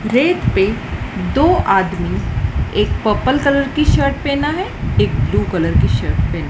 rake पे दो आदमी एक पर्पल कलर की शर्ट पेहना है एक ब्लू कलर की शर्ट पेना --